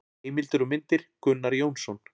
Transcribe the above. Heimildir og myndir: Gunnar Jónsson.